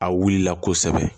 A wulila kosɛbɛ